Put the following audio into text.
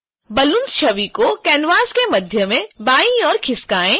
balloons छवि को canvas के मध्य में बायीं ओर खिसकाएँ